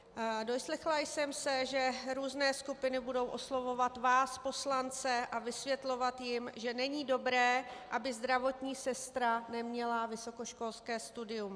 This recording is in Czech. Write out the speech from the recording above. Doslechla jsem se, že různé skupiny budou oslovovat vás poslance a vysvětlovat jim, že není dobré, aby zdravotní sestra neměla vysokoškolské studium.